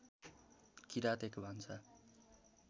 किरात एक भान्सा